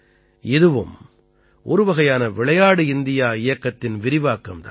இதுவும் ஒரு வகையான விளையாடு இந்தியா இயக்கத்தின் விரிவாக்கம் தான்